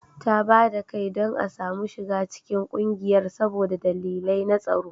Ta ba da kai don a soma shiga cikin kungiyar saboda dalilai na tsaro